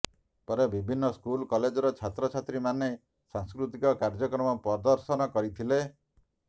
ପରେ ବିଭିନ୍ନ ସ୍କୁଲ କଲେଜର ଛାତ୍ରଛାତ୍ରୀମାନେ ସାଂସ୍କୃତିକ କାର୍ଯ୍ୟକ୍ରମ ପ୍ରଦର୍ଶନ କରିଥିଲେ